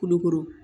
Kulukoro